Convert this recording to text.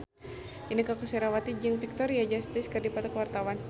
Inneke Koesherawati jeung Victoria Justice keur dipoto ku wartawan